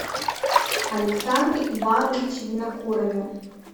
александре ивановиче винокурове